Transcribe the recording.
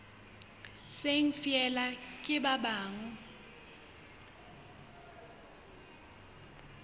seng feela ke ba buang